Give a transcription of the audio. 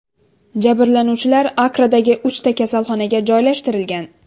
Jabrlanuvchilar Akkradagi uchta kasalxonaga joylashtirilgan.